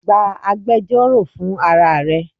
Gba agbẹjọro fun ara re!